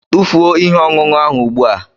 Tụfuo ihe ọṅụṅụ ahụ ugbu a!